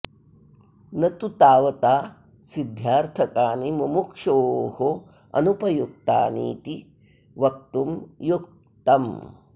न तु तावता सिद्ध्यार्थकानि मुमुक्षोः अनुपयुक्तानीति वक्तुं युक्तं